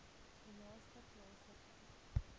u naaste plaaslike